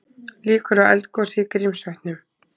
Líkur á eldgosi í Grímsvötnum